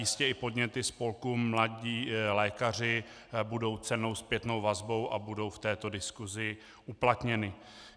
Jistě i podněty spolku Mladí lékaři budou cennou zpětnou vazbou a budou v této diskusi uplatněny.